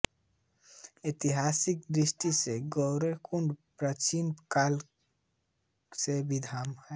ऐतिहासिक दृष्टि से गौरीकुंड प्राचीन काल से विद्यमान है